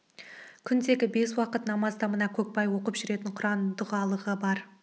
күндегі бес уақыт намазда мына көкбай оқып жүретін құран дұғалығы бар